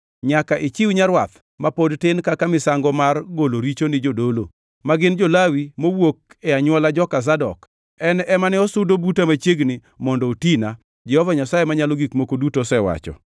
Nyaka ichiw nyarwath ma pod tin kaka misango mar golo richo ni jodolo; ma gin jo-Lawi, mowuok e anywola joka Zadok, en ema ne osudo buta machiegni mondo otina, Jehova Nyasaye Manyalo Gik Moko Duto osewacho.